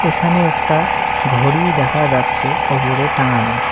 এখানে একটা ঘড়ি দেখা যাচ্ছে ওপরে টাঙানো।